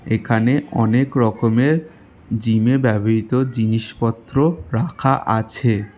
এখানে অনেক রকমের জিমে ব্যবহৃত জিনিসপত্র রাখা আছে।